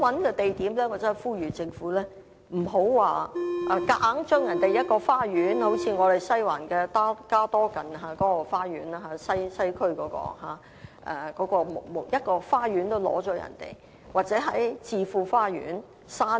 我呼籲政府不要強硬把人家一個花園——正如西環的加多近街花園——政府連一個花園也不放過，或在置富花園附近山坡......